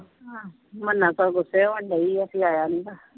ਸਗੋਂ ਗੁੱਸੇ ਹੋਣ ਡਈ ਆ ਵੀ ਆਇਆ ਨੀ।